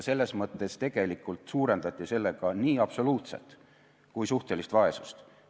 Selles mõttes tegelikult suurendati sellega nii absoluutset kui ka suhtelist vaesust.